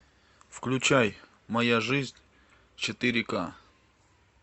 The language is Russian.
включай моя жизнь четыре к